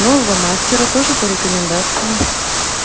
нового мастера тоже по рекомендации